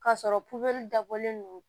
K'a sɔrɔ dabɔlen don